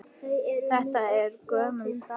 Þetta er gömul staka.